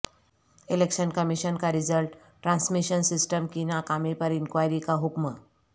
election commission کا result transmission system کی ناکامی پر انکوائری کا حکم